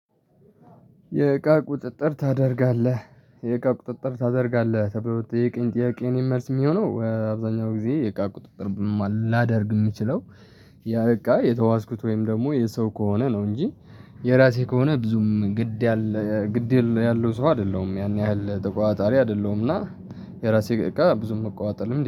"የእቃ ቁጥጥር ታደርጋለህ የእቃ ቁጥጥር ታደርጋለህ?" ተብሎ ለተጠየቀኝ ጥያቄ የኔ መልስ የሚሆነው፤ አብዛኛው ጊዜ የእቃ ቁጥጥር ላደርግ የምችለው፤ ያ እቃ የተዋስኩት ወይም ደግሞ የሰው ከሆነ ነው፤ እንጂ የራሴ ከሆነ ብዙም ግድ ያለ ግድ ያል ያለው ሰው አይደለሁም፤ ያን ያህል ተቆጣጣሪ አይደለሁም፤ እና የራሴ እቃ ብዙም መቆጣጠር ልምድ